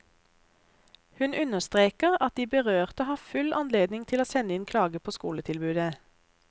Hun understreker at de berørte har full anledning til å sende inn klage på skoletilbudet.